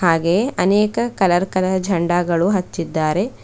ಹಾಗೆಯೇ ಅನೇಕ colour colour ಜಂಡಗಳು ಹಚ್ಚಿದ್ದಾರೆ.